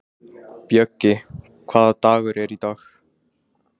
Bjöggi, hvaða dagur er í dag?